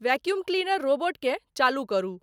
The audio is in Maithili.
वैक्युम क्लीनर रोबोटकें चालू करू ।